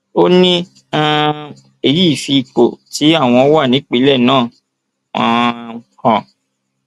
ó ní um èyí fi ipò tí àwọn wà nípìnlẹ náà um hàn